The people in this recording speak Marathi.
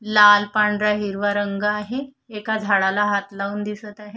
लाल पांढरा हिरवा रंग आहे एका झाडाला हाथ लाऊन दिसत आहे.